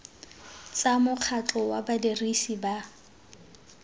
tsa mokgatlho wa badirisi ba